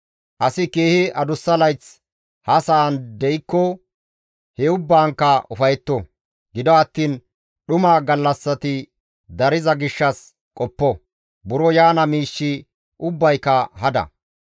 Asi keehi adussa layth ha sa7an de7ikko he ubbaankka ufayetto. Gido attiin dhuma gallassati dariza gishshas qoppo; buro yaana miishshi ubbayka hada.